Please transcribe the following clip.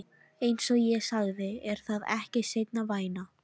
Einsog ég sagði, er það ekki seinna vænna.